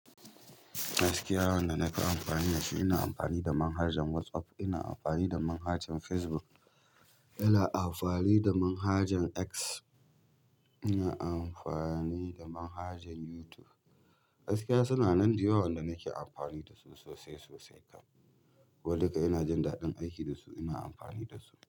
Gaskiya, wand naka amfani da shi ina amfani da manhajar WhatsApp, ina amfani da manhajar Facebook, ina amfani da manhajar X, ina amfani da manhajar YouTube. Gaskiya suna nan da yawa wanda nake amfani da su sosai sosai kam. Ko duka ina jin daɗin aiki da su ina amfani da su.